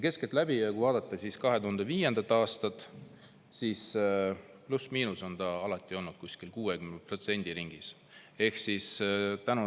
Keskeltläbi on see alati olnud kuskil 60% ringis, pluss-miinus siia-sinna.